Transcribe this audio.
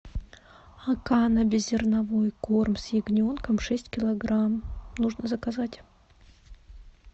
акана беззерновой корм с ягненком шесть килограмм нужно заказать